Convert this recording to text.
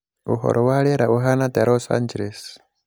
uhoro wa rīera ūhana atia los angeles